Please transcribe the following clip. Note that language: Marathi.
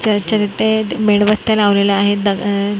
मेणबत्या लावलेल्या आहेत अह --